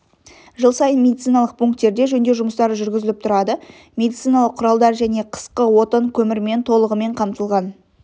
жыл сайын медициналық пунктерде жөндеу жұмыстары жүргізіліп тұрады медициналық құралдар және қысқы отын көмірмен толығымен қамтылған